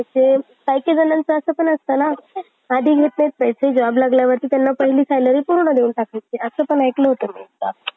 काही काही जणांचं असं पण असतं ना आधी घेतात पैसे job लागल्यांनंतर असं पण ऐकल होतो मी.